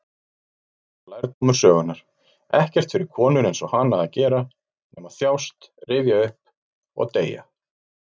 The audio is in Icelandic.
Þetta var lærdómur sögunnar: ekkert fyrir konur-einsog-hana að gera nema þjást, rifja upp, og deyja.